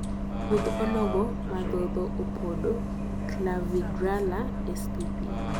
kudni onogo madhodho opodo (Clavigralla spp)